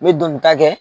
Me doni ta kɛ